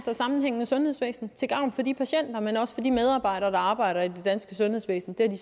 og sammenhængende sundhedsvæsen til gavn for de patienter men også for de medarbejdere der arbejder i det danske sundhedsvæsen det